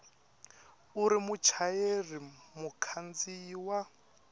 u ri muchayeri mukhandziyi wa